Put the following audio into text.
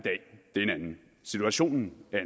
situationen